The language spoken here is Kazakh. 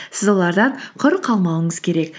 сіз олардан құр қалмауыңыз керек